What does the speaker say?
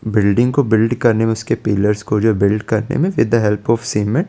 Building को welding करने में जो उसके पिल्लर्स को जो वेल्ड करने में सीधा हेल्प ओन सिन है ।